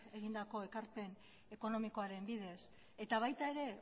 egindako ekarpen ekonomikoaren bidez eta baita ere